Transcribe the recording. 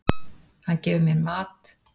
Hann gefur mér mat.